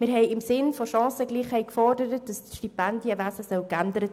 Wir forderten im Sinn der Chancengleichheit eine Änderung des Stipendienwesens.